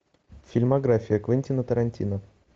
фильмография квентина тарантино